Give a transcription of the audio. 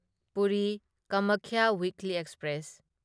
Puri Kamakhya weekly express